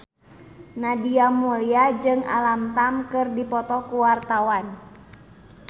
Nadia Mulya jeung Alam Tam keur dipoto ku wartawan